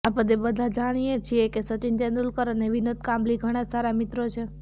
આપદે બઘા જાણીએ છીએ કે સચિન તેડુલકર અને વિનોદ કાંબલી ઘણા સારા મિત્રો છે